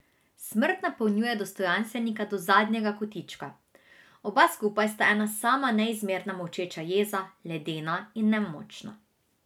Smrt napolnjuje dostojanstvenika do zadnjega kotička, oba skupaj sta ena sama neizmerna molčeča jeza, ledena in nemočna.